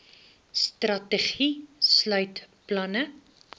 strategie sluit planne